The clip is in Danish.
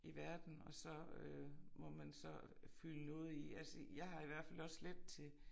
I verden og så øh må man så fylde noget i. Altså jeg har i hvert fald også let til